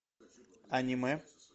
аниме